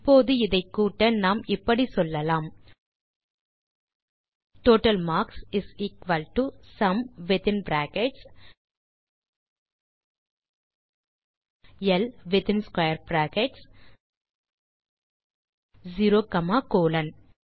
இப்போது இதை கூட்ட நாம் இப்படி சொல்லலாம் total marks is equal to sum within brackets ல் within square brackets 0 comma colon